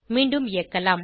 மீண்டும் இயக்கலாம்